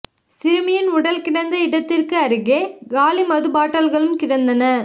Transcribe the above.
சிறுமியின் உடல் கிடந்த இடத்திற்கு அருகே காலி மது பாட்டில்களும் கிடந்தன